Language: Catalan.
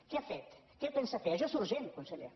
què ha fet què pensa fer això és urgent conseller